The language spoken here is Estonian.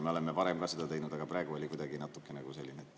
Me oleme varem ka seda teinud, aga praegu oli kuidagi natukene selline …